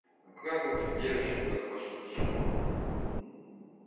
ну как вы тут девочки как ваше ничего